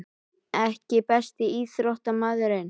EKKI besti íþróttafréttamaðurinn?